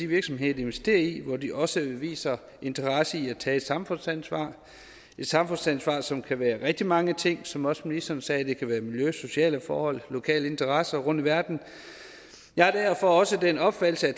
virksomheder de investerer i hvor de også viser interesse i at tage et samfundsansvar et samfundsansvar som kan være rigtig mange ting som også ministeren sagde kan det være miljø sociale forhold lokale interesser rundt i verden jeg er derfor også af den opfattelse at